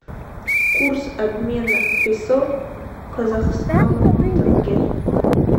курс обмена песо к казахскому тенге